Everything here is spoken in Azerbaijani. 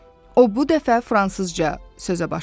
O bu dəfə fransızca sözə başladı.